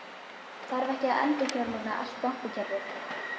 Þarf ekki að endurfjármagna allt bankakerfið?